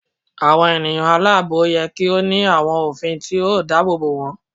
Awọn eniyan alaabo yẹ ki o ni awọn ofin ti o daabobo wọn